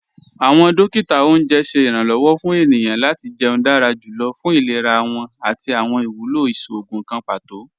Awọn dòkítà ọ̀unjẹ ṣẹ̀ iranlọ́wọ̀ fún ènìyàn lati jẹ̀ún dára jùlọ̀ fún ìlẹ̀rà wọn àti awọn iwúlọ́ ìṣòogùn kàn pátò.